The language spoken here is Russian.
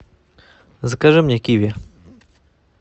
закажи мне киви